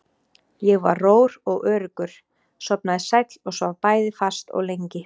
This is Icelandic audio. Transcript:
Ég var rór og öruggur, sofnaði sæll og svaf bæði fast og lengi.